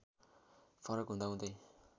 फरक हुँदा हुँदै